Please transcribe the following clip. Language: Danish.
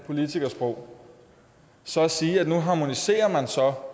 politikersprog så at sige at man nu harmoniserer